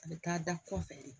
A bɛ taa da kɔfɛ de